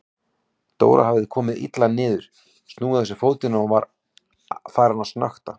Dóra hafði komið illa niður, snúið á sér fótinn og var farin að snökta.